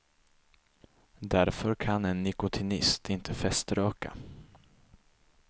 Därför kan en nikotinist inte feströka.